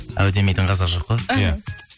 әу демейтін қазақ жоқ қой иә